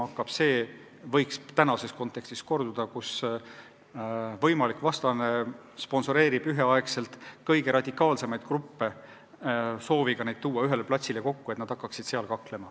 Praeguses kontekstis võiks korduda see, et võimalik vastane sponsoreerib üheaegselt kõige radikaalsemaid gruppe, sooviga nad ühele platsile kokku tuua, et nad hakkaksid seal kaklema.